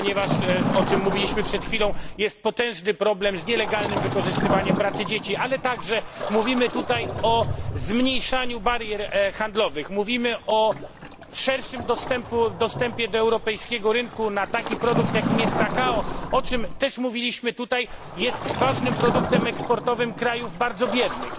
Ponieważ o czym mówiliśmy przed chwilą jest potężny problem z nielegalnym wykorzystywaniem pracy dzieci, ale także mówimy tutaj o zmniejszaniu barier handlowych, mówimy o szerszym dostępie do europejskiego rynku na taki produkt, jakim jest kakao o czym też mówiliśmy tutaj które jest ważnym produktem eksportowym krajów bardzo biednych.